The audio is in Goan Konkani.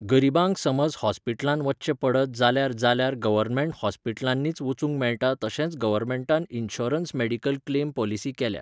गरीबांक समज हॉस्पीटलांत वच्चे पडत जाल्यार जाल्यार गवर्नमँट हॉस्पीटलांनी वचूंक मेळटा तशेंच गवर्मेंटान इनशुरन्स मॅडिकल क्लेम पॉलिसी केल्या